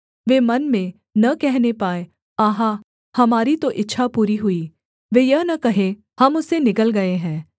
वे मन में न कहने पाएँ आहा हमारी तो इच्छा पूरी हुई वे यह न कहें हम उसे निगल गए हैं